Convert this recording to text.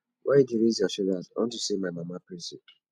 why you dey raise your shoulders unto say my mama praise you